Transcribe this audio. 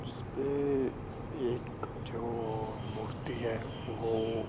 इस्पे एक जो मूर्ति है वो--